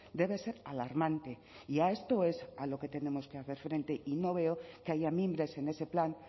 debe ser alarmante y a esto es a lo que tenemos que hacer frente y no veo que haya mimbres en ese plan